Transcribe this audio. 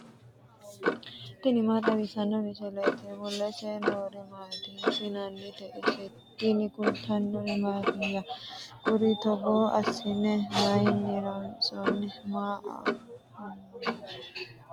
tini maa xawissanno misileeti ? mulese noori maati ? hiissinannite ise ? tini kultannori mattiya? Kuri togo assinne mayiinni loonsoonni? Mama afammanno?